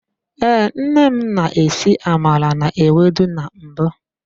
Ee, nne m na-esi amala na-ewedu na mbụ.